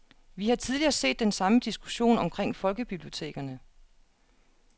Vi har tidligere set den samme diskussion omkring folkebibliotekerne.